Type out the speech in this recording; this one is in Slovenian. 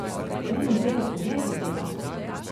Triinpetdeset let je tega.